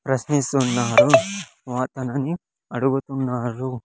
ప్రశ్నిస్తున్నారు వాతనని అడుగుతున్నారు.